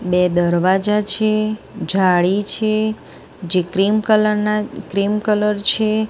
બે દરવાજા છે જાળી છે જે ક્રિમ કલર ના ક્રિમ કલર છે.